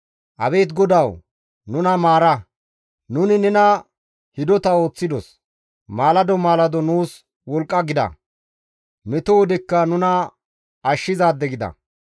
Abeet GODAWU! Nuna maara; nuni nena hidota ooththidos; maalado maalado nuus wolqqa gida; meto wodekka nuna ashshizaade gida.